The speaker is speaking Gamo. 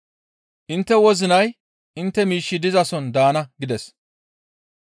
Intte wozinay intte miishshi dizason daana» gides.